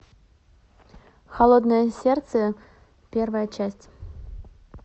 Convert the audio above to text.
холодное сердце первая часть